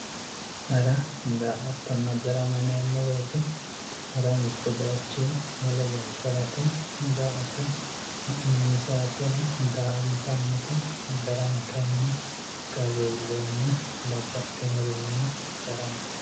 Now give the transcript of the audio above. hara daa''attonna darama yineemmo wote hara mittu bayiichinni wole bayiicho harate daa''atto ha'nani saatera daa''antannite darama kayiinni qarru iilleenna babbaxinorinni daramate.